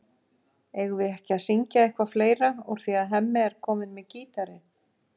Eigum við ekki að syngja eitthvað fleira úr því að Hemmi er kominn með gítarinn?